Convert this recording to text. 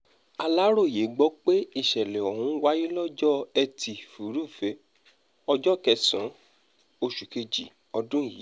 aláròye gbọ́ pé ìsẹ̀lẹ̀ ọ̀hún wáyé lọ́jọ́ etí furuufee ọjọ́ kẹsàn-án oṣù kejì ọdún yìí